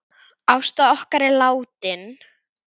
Ásta okkar er látin.